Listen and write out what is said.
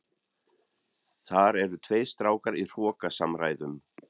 Þar eru tveir strákar í hrókasamræðum.